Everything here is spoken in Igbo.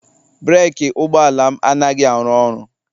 breeki ụgbọala m anaghị arụ ọrụ